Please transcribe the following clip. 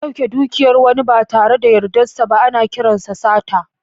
Dauke dukiyar wani ba tare da yardarsa ba, ana kiransa sata.